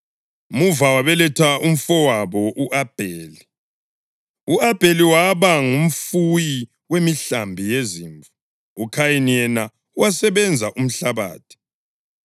Muva wabeletha umfowabo u-Abheli. U-Abheli waba ngumfuyi wemihlambi yezimvu, uKhayini yena wasebenza umhlabathi.